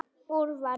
Úlfar